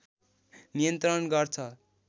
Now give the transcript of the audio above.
नियन्त्रण गर्छ